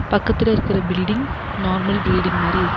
பக்கத்துல இருக்கற building normal building மாரி இருக்கு.